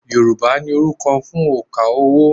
Yorùbá ní orúkọ fún òǹkà owó